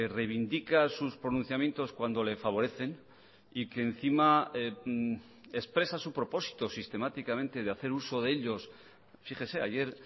reivindica sus pronunciamientos cuando le favorecen y que encima expresa su propósito sistemáticamente de hacer uso de ellos fíjese ayer